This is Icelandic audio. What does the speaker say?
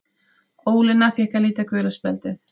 Ólína fékk að líta gula spjaldið.